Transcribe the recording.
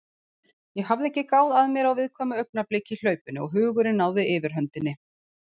Ég hafði ekki gáð að mér á viðkvæmu augnabliki í hlaupinu og hugurinn náði yfirhöndinni.